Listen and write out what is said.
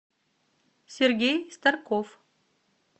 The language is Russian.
сергей старков